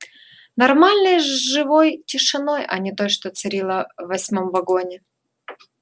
нормальной живой тишиной а не той что царила в восьмом вагоне